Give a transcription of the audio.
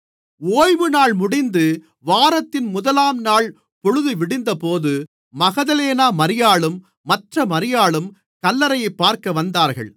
ஓய்வுநாள் முடிந்து வாரத்தின் முதலாம் நாள் பொழுதுவிடிந்தபோது மகதலேனா மரியாளும் மற்ற மரியாளும் கல்லறையைப் பார்க்க வந்தார்கள்